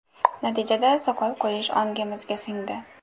Natijada soqol qo‘yish ongimizga singdi.